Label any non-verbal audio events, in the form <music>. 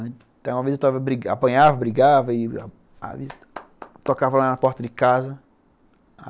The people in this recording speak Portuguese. Uma vez eu apanhava, brigava e <applause> tocava na porta de casa.